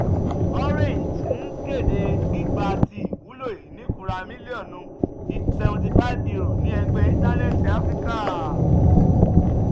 orange n kede gbigba ti iwulo inifura miliọnu seventy five euro ni egbẹ intanẹẹti afirika